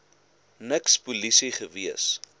niks polisie gewees